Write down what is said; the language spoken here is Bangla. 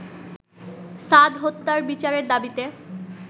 সাদ হত্যার বিচারের দাবিতে